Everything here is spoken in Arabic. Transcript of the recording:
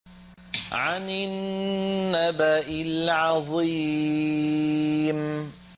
عَنِ النَّبَإِ الْعَظِيمِ